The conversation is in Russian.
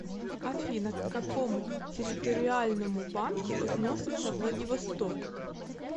афина к какому территориальному банку относится владивосток